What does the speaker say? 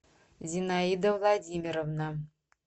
зинаида владимировна